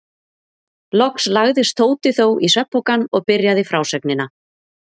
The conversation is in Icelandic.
Loks lagðist Tóti þó í svefnpokann og byrjaði frásögnina.